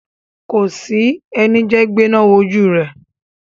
Kòsí ẹni jẹ́ gbéná wojú rẹ̀.